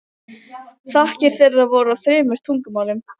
Þakkir þeirra voru á þremur tungumálum.